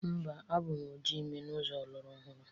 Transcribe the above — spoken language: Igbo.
Mba, abụ m oji ime n'ụzọ ọlụrọhụrụ.